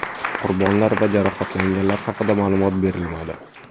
Qurbonlar va jarohatlanganlar haqida ma’lumot berilmadi.